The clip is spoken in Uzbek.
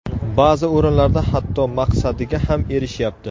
Ba’zi o‘rinlarda hatto maqsadiga ham erishyapti.